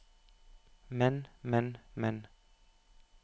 men men men